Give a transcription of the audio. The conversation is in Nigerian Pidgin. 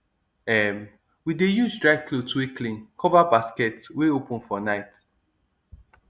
um we dey use dry cloth wey clean cover basket wey open for night